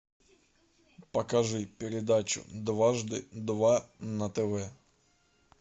покажи передачу дважды два на тв